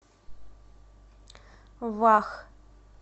вах